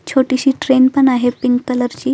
छोटीशी ट्रेन पण आहे पिंक कलर ची--